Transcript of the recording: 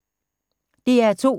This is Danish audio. DR2